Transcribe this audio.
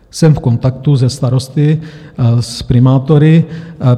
Jsem v kontaktu se starosty, s primátory.